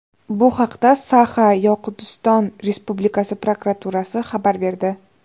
Bu haqda Saxa-Yoqutiston Respublikasi prokuraturasi xabar berdi .